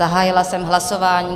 Zahájila jsem hlasování.